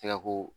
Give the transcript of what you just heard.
Tika ko